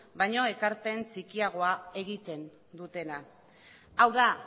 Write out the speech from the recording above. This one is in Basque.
baino ekarpen txikiagoa egiten dutela hau da